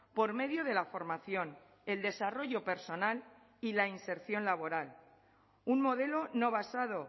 por medio de la formación el desarrollo personal y la inserción laboral un modelo no basado